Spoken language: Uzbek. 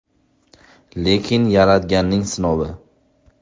Lekin Yaratganning sinovi.